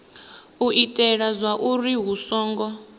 u itela zwauri hu songo